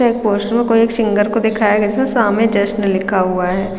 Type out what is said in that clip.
कोई एक पोस्टर को एक सिंगर दिखाया गया है जिसमें सामने जश्नन लिखा हुआ हैं।